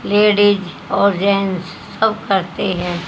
Ladies और gents सब करते है।